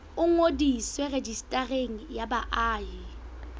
o ngodiswe rejistareng ya baahi